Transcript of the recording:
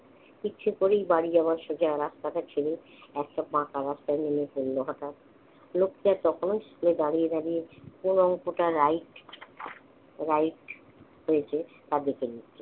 ইচ্ছে করেই বাড়ি যাওয়ার সোজা রাস্তাটা চিনি, একেতো পাকা রাস্তায় নেমে পড়ল হঠাৎ। লোকটা তখন স্কুলে দাঁড়িয়ে দাঁড়িয়ে কোন অঙ্কটা right right হয়েছে তা দেখে নিচ্ছে।